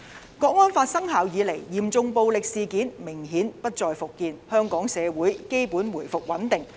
《香港國安法》生效以來，嚴重暴力事件明顯不再復見，香港社會基本回復穩定。